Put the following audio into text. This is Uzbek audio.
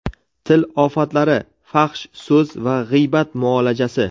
Til ofatlari: fahsh so‘z va g‘iybat muolajasi.